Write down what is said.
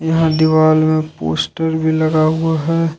यहां दीवाल में पोस्टर भी लगा हुआ है।